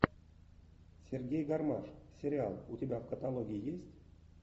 сергей гармаш сериал у тебя в каталоге есть